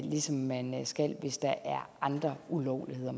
ligesom man skal det hvis der er andre ulovligheder